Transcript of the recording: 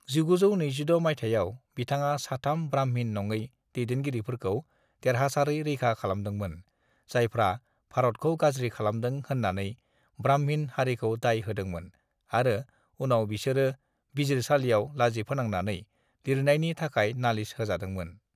"1926 माइथायाव, बिथाङा साथाम ब्राह्मिन नंङै दैदेनगिरिफोरखौ देरहासारै रैखा खालामदोंमोन जायफ्रा भारतखौ गाज्रि खालामदों होननानै ब्राह्मिन हारिखौ दाय होदोंमोन आरो उनाव बिसोरो बिजिरसालियाव लाजिफोनांनानै लिरनायनि थाखाय नालिस होजादोंमोन ।"